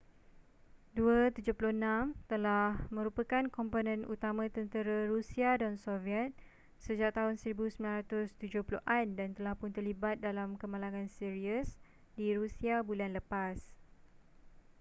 il-76 telah merupakan komponen utama tentera rusia dan soviet sejak tahun 1970an dan telah pun terlibat dalam kemalangan serius di rusia bulan lepas